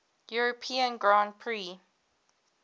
european grand prix